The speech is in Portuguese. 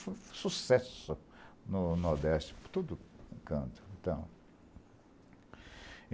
Foi sucesso no Nordeste, por todo canto, então.